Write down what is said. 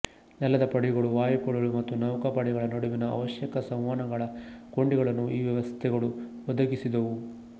ನೆಲದ ಪಡೆಗಳು ವಾಯುಪಡೆಗಳು ಮತ್ತು ನೌಕಾಪಡೆಗಳ ನಡುವಿನ ಅವಶ್ಯಕ ಸಂವಹನಗಳ ಕೊಂಡಿಗಳನ್ನು ಈ ವ್ಯವಸ್ಥೆಗಳು ಒದಗಿಸಿದವು